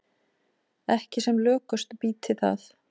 Ekki sem lökust býti það.